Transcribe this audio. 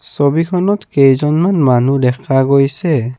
ছবিখনত কেইজনমান মানুহ দেখা গৈছে।